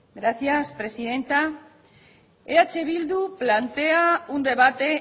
gracias presidenta eh bildu plantea un debate